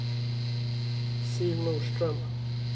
Siv Norström